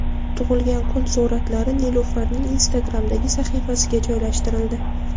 Tug‘ilgan kun suratlari Nilufarning Instagram’dagi sahifasiga joylashtirildi .